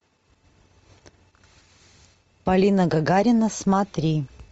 полина гагарина смотри